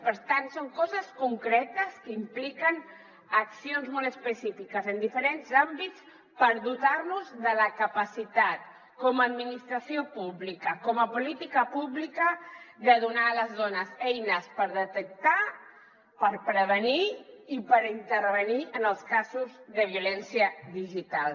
per tant són coses concretes que impliquen accions molt específiques en diferents àmbits per dotar nos de la capacitat com a administració pública com a política pública de donar a les dones eines per detectar per prevenir i per intervenir en els casos de violència digital